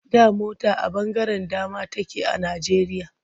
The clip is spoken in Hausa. Da mota a ɓangaren dama take a Najjeriya.